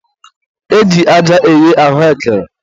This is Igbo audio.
e ji aja eghe ahụekere.